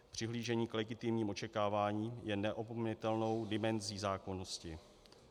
Přihlížení k legitimnímu očekávání je neopominutelnou dimenzí zákonnosti.